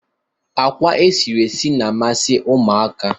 Akwa e siri esi na-amasi ụmụaka.